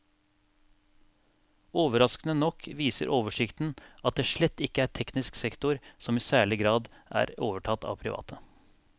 Overraskende nok viser oversikten at det slett ikke er teknisk sektor som i særlig grad er overtatt av private.